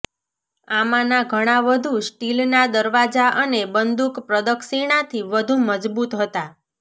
આમાંના ઘણા વધુ સ્ટીલના દરવાજા અને બંદૂક પ્રદક્ષિણાથી વધુ મજબૂત હતા